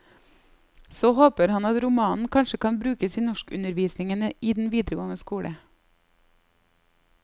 Så håper han at romanen kanskje kan brukes i norskundervisningen i den videregående skole.